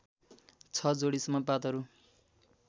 ६ जोडीसम्म पातहरू